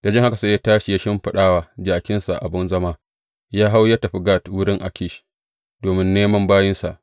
Da jin haka, sai ya tashi ya shimfiɗa wa jakinsa abin zama, ya hau, ya tafi Gat wurin Akish domin neman bayinsa.